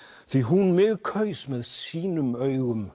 því hún mig kaus með sínum augum